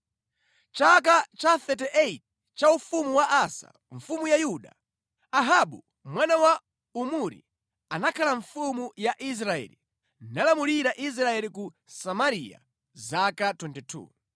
Mʼchaka cha 38 cha ufumu wa Asa, mfumu ya Yuda, Ahabu mwana wa Omuri anakhala mfumu ya Israeli nalamulira Israeli ku Samariya zaka 22.